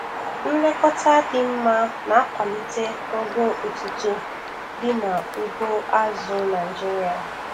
Nlekọta dị mma na-akwalite ogo otito dị n'ugbo azụ̀ Naịjiria.